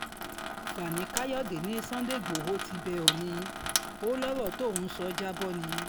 fani káyọ̀dé ní sunday igbodò ti bẹ́ òónì ó lọ̀rọ̀ tóun sọ já bọ́ ni